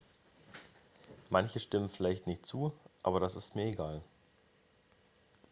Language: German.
"""manche stimmen vielleicht nicht zu aber das ist mir egal.""